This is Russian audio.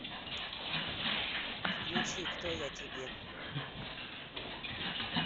включи кто я тебе